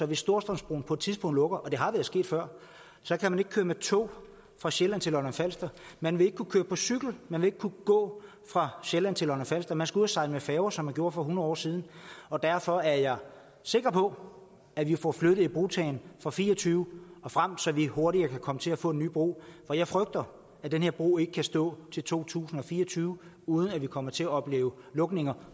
hvis storstrømsbroen på et tidspunkt lukker og det har været sket før så kan man ikke køre med tog fra sjælland til lolland falster man vil ikke kunne køre på cykel man vil ikke kunne gå fra sjælland til lolland falster man skal ud at sejle med færge som man gjorde for hundrede år siden og derfor er jeg sikker på at vi får flyttet ibrugtagningen og fire og tyve og frem så vi hurtigere kan komme til at få den nye bro for jeg frygter at den her bro ikke kan stå til to tusind og fire og tyve uden at vi kommer til at opleve lukninger